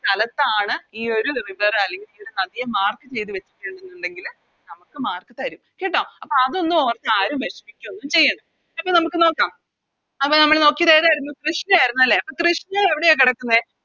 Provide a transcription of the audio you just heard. സ്ഥലത്താണ് ഈയൊരു River അല്ലെങ്കി നദിയെ Mark ചെയ്ത വച്ചിരിക്കുന്നെന്ന് ഉണ്ടെങ്കില് നമുക്ക് Mark തരും കേട്ടോ അപ്പൊ അതൊന്നും ഓർത്ത് ആരും വേഷമിക്കുവോന്നും ചെയ്യണ്ട അപ്പൊ നമുക്ക് നോക്കാം അപ്പൊ നമ്മള് നോക്കിയത് ഏതരുന്നു കൃഷ്ണ ആരുന്നു അല്ലെ കൃഷ്ണ എവിടെയാ കെടക്കുന്നെ